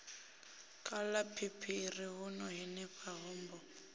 khala phiphiḓi huno henefho hombo